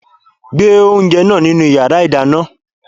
Gbe oúnjẹ náà nínu yàrá ìdáná!